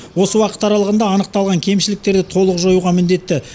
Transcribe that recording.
осы уақыт аралығында анықталған кемшіліктерді толық жоюға міндетті